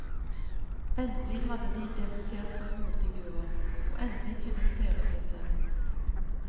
Endelig hadde de debutert som hovedfigurer,, og endelig kunne de feire seg selv.